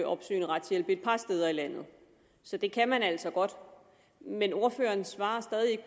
opsøgende retshjælp et par steder i landet så det kan man altså godt men ordføreren svarer stadig